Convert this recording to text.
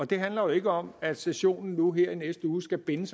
det handler jo ikke om at sessionen nu her i næste uge skal binde